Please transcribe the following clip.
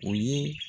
O ye